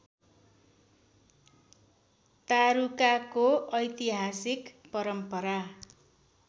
तारुकाको ऐतिहासिक परम्परा